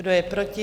Kdo je proti?